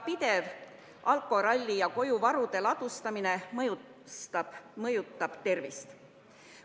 Pidev alkoralli ja koju varude ladustamine mõjutab tervist.